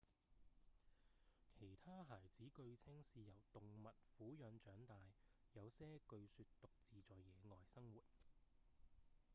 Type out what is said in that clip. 其他孩子據稱是由動物撫養長大；有些據說獨自在野外生活